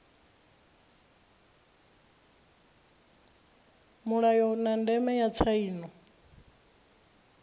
mulayo na ndeme ya tsaino